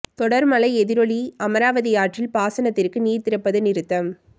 தொடர் மழை எதிரொலி அமராவதி ஆற்றில் பாசனத்திற்கு நீர் திறப்பது நிறுத்தம்